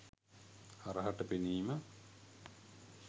හරහට පෙනීම